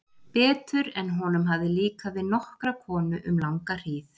Betur en honum hafði líkað við nokkra konu um langa hríð.